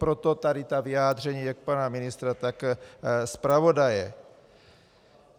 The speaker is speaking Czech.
Proto tady ta vyjádření jak pana ministra, tak zpravodaje.